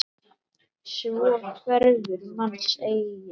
Svo hverfur manns eigin dýrð.